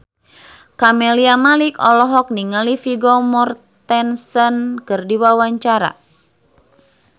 Camelia Malik olohok ningali Vigo Mortensen keur diwawancara